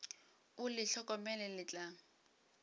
o le hlokomele le tla